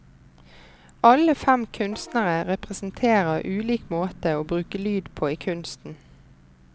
Alle fem kunstnere representerer ulik måte å bruke lyd på i kunsten.